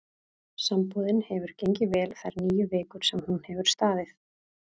Sambúðin hefur gengið vel þær níu vikur sem hún hefur staðið.